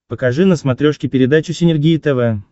покажи на смотрешке передачу синергия тв